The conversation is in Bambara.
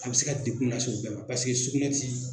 A bɛ se ka degun lase o bɛɛ ma sugunɛ tɛ